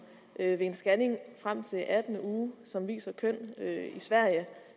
ved en scanning frem til den attende uge som viser kønnet